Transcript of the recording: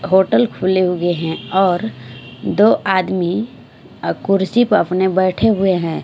Hotel खुले हुए ह और दो आदमी अ कुर्सी प अपने बैठे हुए है।